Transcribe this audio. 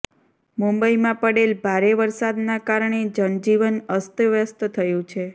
મુંબઈમાં પડેલ ભારે વરસાદના કારણે જનજીવન અસ્તવ્યસ્ત થયું છે